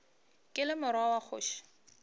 ke le morwa wa kgoši